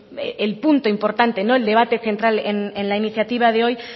el punto importante el debate central en la iniciativa de hoy